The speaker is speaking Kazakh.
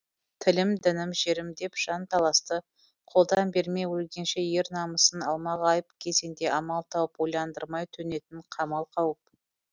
тілім дінім жерім деп жан таласты қолдан бермей өлгенше ер намысын алмағайып кезеңде амал тауып ойландырмай төнетін қамал қауіп